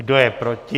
Kdo je proti?